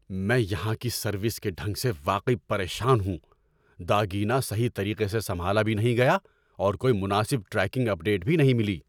میں یہاں کی سروس کے ڈھنگ سے واقعی پریشان ہوں۔ داگینہ صحیح طریقے سے سنبھالا بھی نہیں گیا اور کوئی مناسب ٹریکنگ اپ ڈیٹ بھی نہیں ملی!